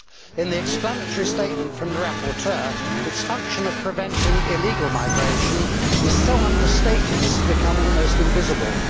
In the explanatory statement from the rapporteur, its function of preventing illegal migration is so understated as to become almost invisible.